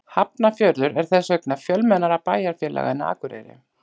Hafnarfjörður er þess vegna fjölmennara bæjarfélag en Akureyri.